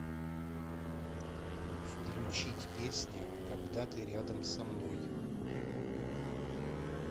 включить песня когда ты рядом со мной